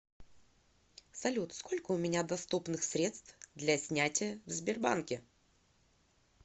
салют сколько у меня доступных средств для снятия в сбербанке